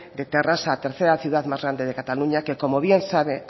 de terrassa tercera ciudad más grande de cataluña que como bien sabe